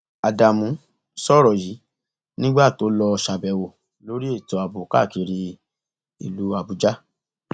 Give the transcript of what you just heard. ádámù sọrọ yìí nígbà tó lọọ ṣàbẹwò lórí ètò ààbò káàkiri ìlú àbújá